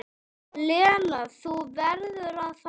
Lena, þú verður að fara!